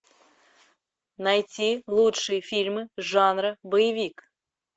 найти лучшие фильмы жанра боевик